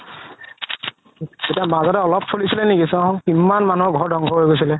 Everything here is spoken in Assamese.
এতিয়া মাজত চলিছিলে নেকি কিমান মানুহৰ ঘৰ ধ্বংস হৈ গৈছিলে